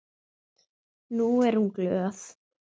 Nú er hún glöð.